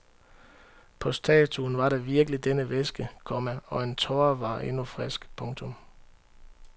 På statuen var der virkelig denne væske, komma og en tåre var endnu frisk. punktum